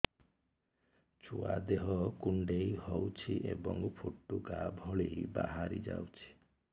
ଛୁଆ ଦେହ କୁଣ୍ଡେଇ ହଉଛି ଏବଂ ଫୁଟୁକା ଭଳି ବାହାରିଯାଉଛି